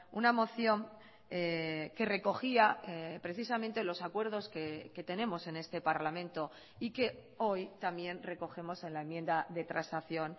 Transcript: una moción que recogía precisamente los acuerdos que tenemos en este parlamento y que hoy también recogemos en la enmienda de transacción